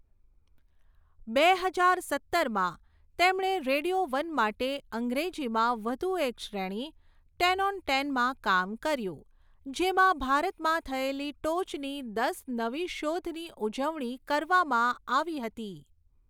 બે હજાર સત્તરમાં તેમણે રેડિયો વન માટે અંગ્રેજીમાં વધુ એક શ્રેણી, 'ટેન ઓન ટેન'માં કામ કર્યું, જેમાં ભારતમાં થયેલી ટોચની દસ નવી શોધની ઉજવણી કરવામાં આવી હતી.